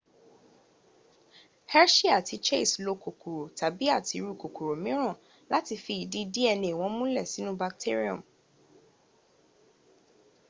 hershey àti chase lokòkòrò tàbi àtirú kòkòrò míràn láti fi ìdí dna wọn múlẹ̀̀ sínu bacterium